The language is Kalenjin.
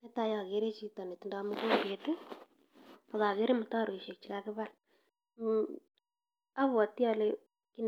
Netai agere chito netindoi mugombet, ak agere mutaroishek che kagibal. Abwoti ale kit